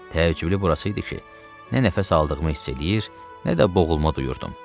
Təəccüblü burası idi ki, nə nəfəs aldığımı hiss eləyir, nə də boğulma duyurdum.